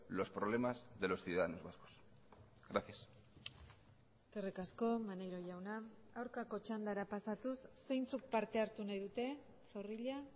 los problemas de los ciudadanos vascos gracias eskerrik asko maneiro jauna aurkako txandara pasatuz zeintzuk parte hartu nahi dute zorrilla